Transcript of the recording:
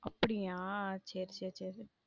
அப்பிடியா சேரி சேரி சேரி.